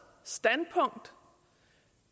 standpunkt